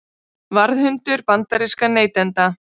Varðhundur bandarískra neytenda